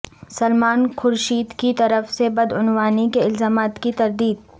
سلمان خورشید کی طرف سےبدعنوانی کے الزامات کی تردید